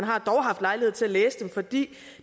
har dog haft lejlighed til at læse dem for de